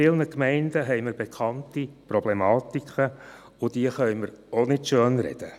In vielen Gemeinden haben wir bekannte Problematiken, und diese können wir auch nicht schönreden.